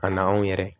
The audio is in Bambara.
Ka na anw yɛrɛ